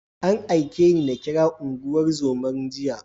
An aike ni na kira unguwar zoman jiya.